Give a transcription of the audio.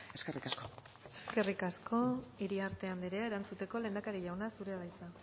eskerrik asko eskerrik asko iriarte anderea erantzuteko lehendakari jauna zurea da hitza